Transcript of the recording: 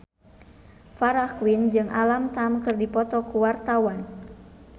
Farah Quinn jeung Alam Tam keur dipoto ku wartawan